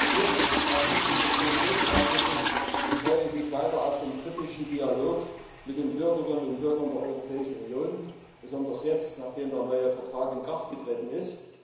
Viertens Als Mitglied des Petitionsausschusses freue ich mich weiter auf den kritischen Dialog mit den Bürgerinnen und Bürgern der Europäischen Union, besonders jetzt, nachdem der neue Vertrag in Kraft getreten ist.